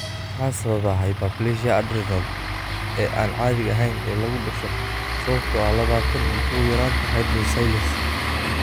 Maxaa sababa hyperplasia adrenal ee aan caadiga ahayn ee lagu dhasho sababtoo ah labatan iyo kow yaraanta hydroxylase?